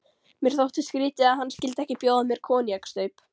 Mér þótti skrýtið, að hann skyldi ekki bjóða mér koníaksstaup.